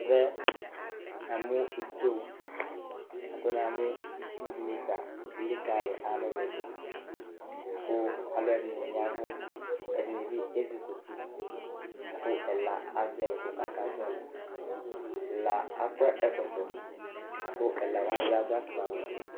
Ɛvɛ namʋ ito la kʋ namʋ itsu dɩnɩ ta elikalɩ alʋlʋ dʋ kʋ alʋɛdɩnɩ ya ɛvʋ, ɛdɩnɩ bɩ ezikuti la kʋ ɛla azɛ ʋkʋ kʋ akazɔɣɔlɩ Ɛna akɔ ɛkɔtɔ la kʋ ɛla wanɩ bɩ adʋ afʋkpawɛ